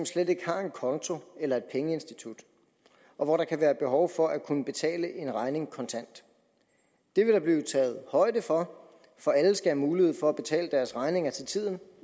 slet ikke har en konto eller et pengeinstitut og hvor der kan være behov for at kunne betale en regning kontant det vil der blive taget højde for for alle skal have mulighed for at betale deres regninger til tiden